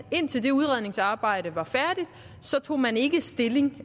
indtil det udredningsarbejde var færdigt tog man ikke stilling